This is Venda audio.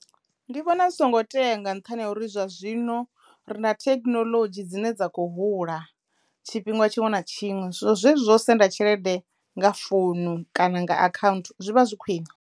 Ndi vhona zwi songo tea nga nṱhani ha uri zwa zwino ri nda thekinoḽodzhi dzine dza kho hula tshifhinga tshiṅwe na tshiṅwe so zwezwi zwo u senda tshelede nga founu kana nga akhaunthu zwi vha zwi khwine.